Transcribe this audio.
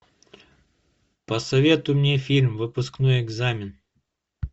посоветуй мне фильм выпускной экзамен